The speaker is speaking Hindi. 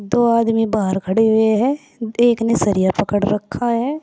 दो आदमी बाहर खड़े हुए हैं एक ने सरिया पकड़ रखा है।